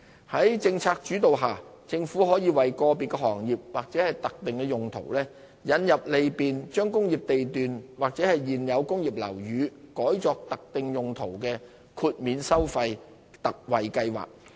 在政策主導下，政府可為個別行業或特定用途引入利便將工業地段或現有工業樓宇改作特定用途的豁免收費/特惠計劃。